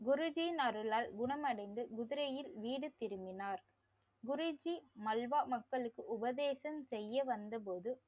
குருஜீயின் அருளால் குணமடைந்து குதிரையில் வீடு திரும்பினார். குருஜி மல்வா மக்களுக்கு உபதேசம் செய்ய வந்தபோது